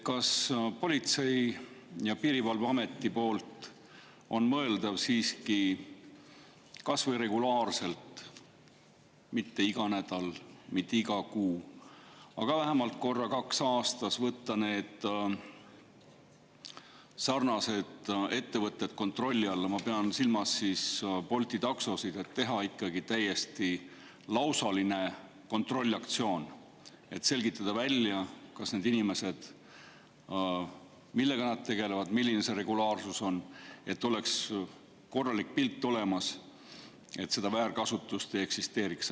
Kas on mõeldav, et Politsei‑ ja Piirivalveamet võtaks regulaarselt, mitte iga nädal, mitte iga kuu, aga vähemalt korra-kaks aastas need ettevõtted kontrolli alla – ma pean silmas siis Bolti taksosid –, et teha ikkagi täiesti lausaline kontrollaktsioon ja selgitada välja, millega need inimesed tegelevad, milline see regulaarsus on, selleks et oleks korralik pilt olemas ja seda väärkasutust ei eksisteeriks.